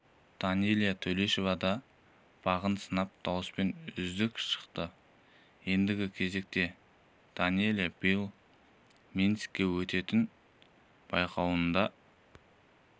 данэлия төлешова да бағын сынап дауыспен үздік шықты ендігі кезекте данэлия биыл минскіде өтетін байқауында